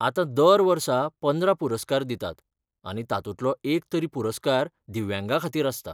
आतां दर वर्सा पंदरा पुरस्कार दितात आनी तातूंतलो एक तरी पुरस्कार दिव्यांगांखातीर आसता.